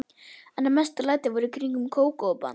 En mestu lætin voru í kringum Kókó-band.